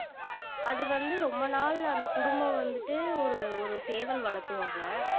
அது வந்து ரொம்ப நாள் அந்த குடும்பம் வந்துட்டு ஒரு ஒரு சேவல் வளத்துவாங்க